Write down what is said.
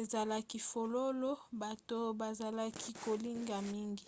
ezalaki fololo bato bazalaki kolinga mingi